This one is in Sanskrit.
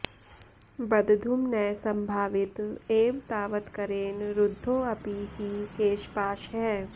बद्धुं न संभावित एव तावत्करेण रुद्धोऽपि हि केशपाशः